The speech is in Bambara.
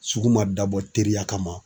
Sugu ma dabɔ teriya kama.